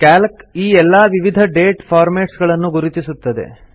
Calc ಈ ಎಲ್ಲಾ ವಿವಿಧ ಡೇಟ್ ಫಾರ್ಮೆಟ್ಸ್ ಗಳನ್ನು ಗುರುತಿಸುತ್ತದೆ